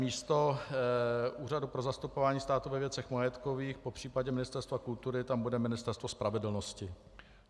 Místo Úřadu pro zastupování státu ve věcech majetkových, popřípadě Ministerstva kultury, tam bude Ministerstvo spravedlnosti.